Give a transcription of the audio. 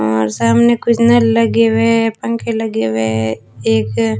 और सामने कुछ नल लगे हुए है पंखे लगे हुए है एक--